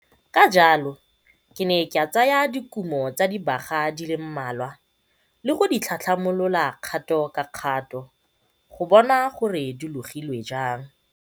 Ka jalo, ke ne ka tsaya dikumo tsa dibaga di le mmalwa le go di tlhatlhamolola kgato ka kgato go bona gore di logilwe jang.